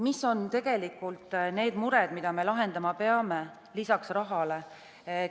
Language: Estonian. Mis on need mured, mida me lahendama peame, lisaks rahale?